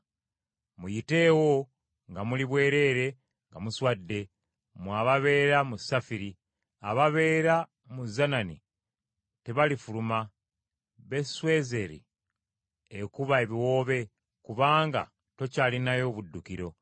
Muyiteewo nga muli bwereere nga muswadde, mmwe ababeera mu Safiri. Ababeera mu Zanani tebalifuluma. Beswezeeri ekuba ebiwoobe, kubanga tokyalinayo buddukiro.